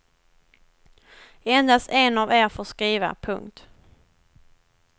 Endast en av er får skriva. punkt